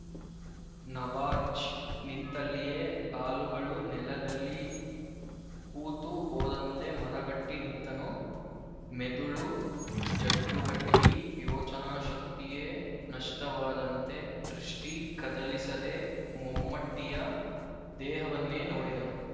ನವಾಜ್ ನಿಂತಲ್ಲಿಯೇ ಕಾಲುಗಳು ನೆಲದಲ್ಲಿ ಹೂತು ಹೋದಂತೆ ಮರಗಟ್ಟಿ ನಿಂತನು ಮೆದುಳು ಜಡ್ಡುಗಟ್ಟಿ ಯೋಚನಾಶಕ್ತಿಯೇ ನಷ್ಟವಾದಂತೆ ದೃಷ್ಟಿ ಕದಲಿಸದೆ ಮಮ್ಮಟಿಯ ದೇಹವನ್ನೇ ನೋಡಿದನು